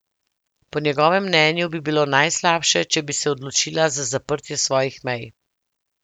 Po njegovem mnenju bi bilo najslabše, če bi se odločila za zaprtje svojih mej.